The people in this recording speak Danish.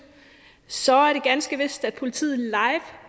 så er det ganske vist at politiet live